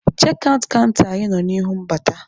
Chekị aụt kanta anyị nọ n'ihu mbata.